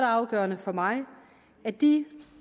afgørende for mig at de